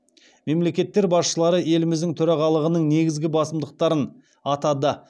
мемлекеттер басшылары еліміздің төрағалығының негізгі басымдықтарын атады